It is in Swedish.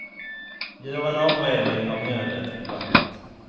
Gör en avredning av mjölet och vattnet.